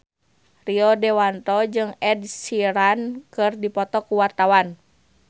Rio Dewanto jeung Ed Sheeran keur dipoto ku wartawan